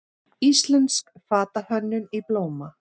Íslensk fatahönnun í blóma